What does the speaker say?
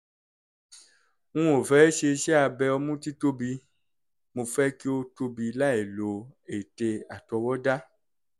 n ò fẹ́ ṣe iṣẹ́-abẹ ọmú títóbi; mo fẹ́ kí ó tóbi láìlo ète àtọwọ́dá